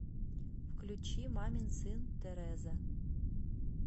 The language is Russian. включи мамин сын тереза